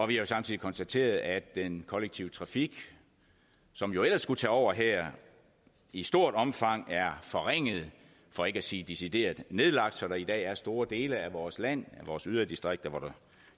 vi har samtidig konstateret at den kollektive trafik som jo ellers skulle tage over her i stort omfang er forringet for ikke at sige decideret nedlagt så der i dag er store dele af vores land vores yderdistrikter hvor der